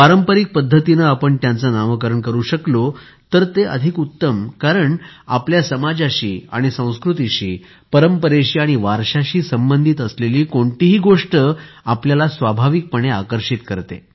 पारंपारिक पद्धतीने आपण त्यांचे नामकरण करू शकलो तर ते उत्तम होईल कारणआपल्या समाजाशी आणि संस्कृतीशी परंपरेशी आणि वारशाशी संबंधित असलेली कोणतीही गोष्ट आपल्याला स्वाभाविकपणे आकर्षित करते